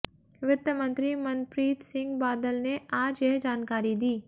वित्त मंत्री मनप्रीत सिंह बादल ने आज यह जानकारी दी